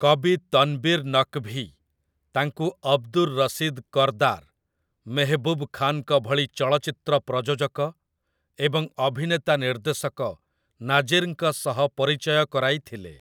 କବି ତନ୍‍ବୀର୍‌ ନକ୍‌ଭୀ ତାଙ୍କୁ ଅବଦୁର୍ ରଶିଦ୍ କର୍‌‌ଦାର୍, ମେହବୁବ୍ ଖାନ୍‌ଙ୍କ ଭଳି ଚଳଚ୍ଚିତ୍ର ପ୍ରଯୋଜକ ଏବଂ ଅଭିନେତା ନିର୍ଦ୍ଦେଶକ ନାଜିର୍‌ଙ୍କ ସହ ପରିଚୟ କରାଇଥିଲେ ।